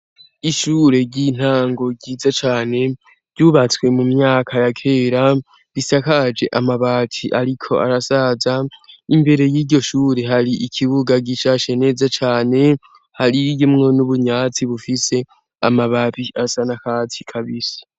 Ishure ry'intango ryiza cane ryubatswe mu myaka ya kera bisakaje amabati, ariko arasaza imbere y'iryo shure hari ikibuga gicashe neza cane hariyimwo n'ubunyatsi bufise amababi asa na katsi kabisa.